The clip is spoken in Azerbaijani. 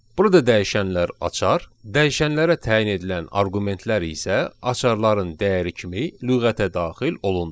Burada dəyişənlər açar, dəyişənlərə təyin edilən arqumentlər isə açarların dəyəri kimi lüğətə daxil olundu.